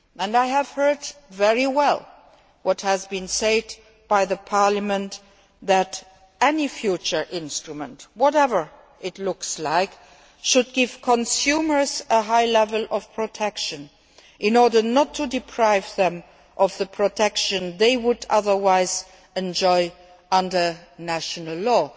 I have taken very good note of what has been said by Parliament, namely, that any future instrument, whatever it looks like, should give consumers a high level of protection in order not to deprive them of the protection they would otherwise enjoy under national